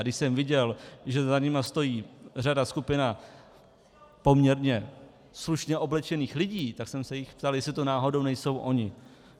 A když jsem viděl, že za nimi stojí řada, skupina poměrně slušně oblečených lidí, tak jsem se jich ptal, jestli to náhodou nejsou oni.